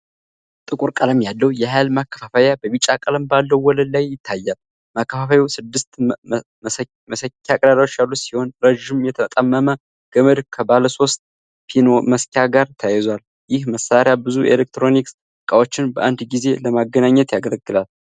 ጥቁር ቀለም ያለው የኃይል ማከፋፈያ በቢጫ ቀለም ባለው ወለል ላይ ይታያል። ማከፋፈያው ስድስት መሰኪያ ቀዳዳዎች ያሉት ሲሆን፣ ረዥም የተጣመመ ገመድ ከባለሶስት-ፒን መሰኪያ ጋር ተያይዟል። ይህ መሳሪያ ብዙ የኤሌክትሮኒክስ እቃዎችን በአንድ ጊዜ ለማገናኘት ያገለግላል።